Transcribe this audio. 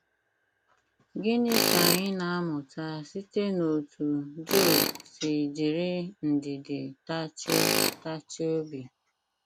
Gịnị ka anyị na - amụta site n’otú Job si jiri ndidi tachie tachie obi?